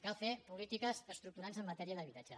cal fer polítiques estructurants en matèria d’habitatge